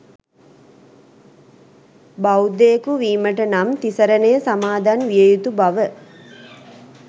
බෞද්ධයකු වීමට නම් තිසරණය සමාදන් වියයුතු බව